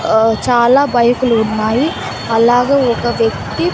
ఆ చాలా బైకులు ఉన్నాయి అలాగే ఒక వ్యక్తి--